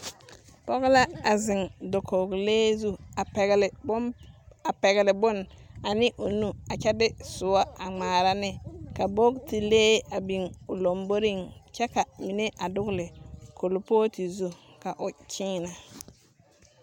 Pͻge la a zeŋe dakogilee zu a pԑgele bomp a pԑgele bone ane o nu a kyԑ de sõͻ a ŋmaara ne. ka bogitilee a biŋ o lomboriŋ kyԑ ka mine a dogele kuripootu zu ka o kyeenԑ.